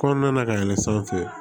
Kɔnɔna na ka yɛlɛ sanfɛ